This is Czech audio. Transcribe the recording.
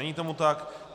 Není tomu tak.